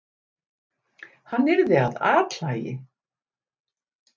Hann yrði að athlægi!